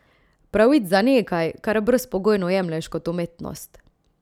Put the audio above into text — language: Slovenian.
Pravic za nekaj, kar brezpogojno jemlješ kot umetnost.